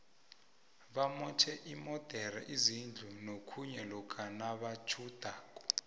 bamotjhe iimodere izindu nokhunye lokha nabatjhudako